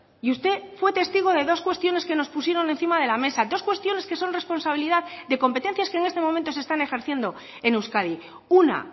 y usted fue testigo de dos cuestiones que nos pusieron encima de la mesa dos cuestiones que son responsabilidad de competencias que en este momento se están ejerciendo en euskadi una